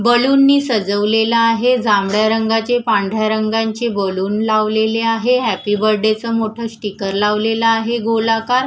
बलूननी सजवलेलं आहे जांभळ्या रंगाचे पांढऱ्या रंगांचे बलून लावलेले आहे हॅपी बर्थडेचं स्टीकर लावलेलं आहे गोलाकार.